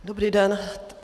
Dobrý den.